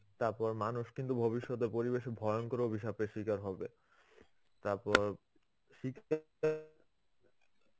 জি তারপর মানুষ কিন্তু ভবিষ্যতের পরিবেশে ভয়ঙ্কর অভিশাপের শিকার হবে. তারপর